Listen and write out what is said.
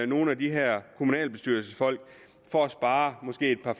nogle af de her kommunalbestyrelsesfolk for at spare måske et par